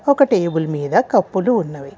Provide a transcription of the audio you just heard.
ఒక టేబులు మీద కప్పులు ఉన్నవి.